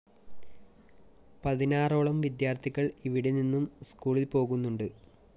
പതിനാറോളം വിദ്യാര്‍ത്ഥികള്‍ ഇവിടെ നിന്നും സ്‌കൂളില്‍ പോകുന്നുണ്ട്